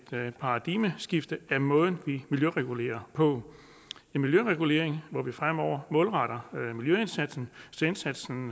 paradigmeskift af den måde vi miljøregulerer på en miljøregulering hvor vi fremover målretter miljøindsatsen så indsatsen